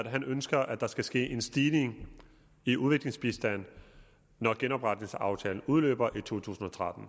han ønsker at der skal ske en stigning i udviklingsbistanden når genopretningsaftalen udløber i to tusind og tretten